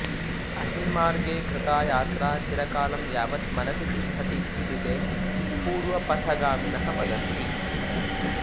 अस्मिन् मार्गे कृता यात्रा चिरकालं यावत् मनसि तिष्ठति इति ते पूर्वपथगामिनः वदन्ति